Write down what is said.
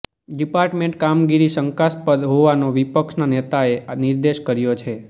department કામગીરી શંકાસ્પદ હોવાનો વિપક્ષના નેતાએ નિર્દેશ કર્યો છે